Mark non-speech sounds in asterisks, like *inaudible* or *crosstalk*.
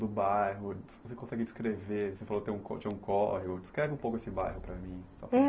do bairro, se você consegue descrever, você falou que *unintelligible* tinha um córrego, descreve um pouco esse bairro para mim.